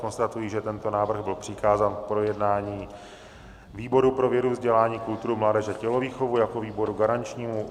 Konstatuji, že tento návrh byl přikázán k projednání výboru pro vědu, vzdělání, kulturu, mládež a tělovýchovu jako výboru garančnímu.